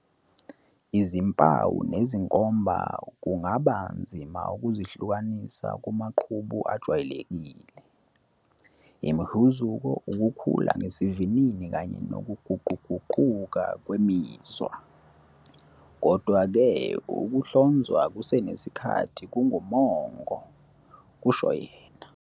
"Izimpawu nezinkomba kungaba nzima ukuzihlukanisa kumaqhubu ajwayelekile, imihuzuko, ukukhula ngesivinini kanye nokuguquguquka kwemizwa. Kodwa-ke, ukuhlonzwa kusenesikhathi kungumongo," kusho yena.